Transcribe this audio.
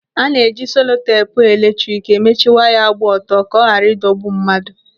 Ana-eji seloteepu eletrik emechi waya gba ọtọ ka ọ ghara ịdọgbu mmadụ.